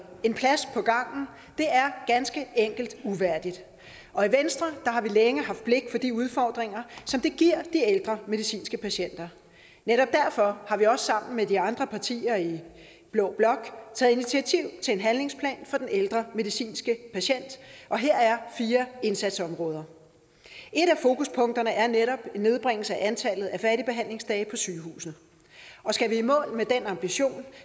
en plads på gangen er ganske enkelt uværdigt og i venstre har vi længe haft blik for de udfordringer som det giver de ældre medicinske patienter netop derfor har vi også sammen med de andre partier i blå blok taget initiativ til en handlingsplan for den ældre medicinske patient og her er fire indsatsområder et af fokuspunkterne er netop en nedbringelse af antallet af færdigbehandlingsdage på sygehuset og skal vi i mål med den ambition